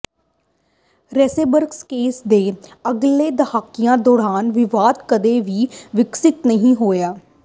Rosenberg case ਦੇ ਅਗਲੇ ਦਹਾਕਿਆਂ ਦੌਰਾਨ ਵਿਵਾਦ ਕਦੇ ਵੀ ਵਿਕਸਿਤ ਨਹੀਂ ਹੋਇਆ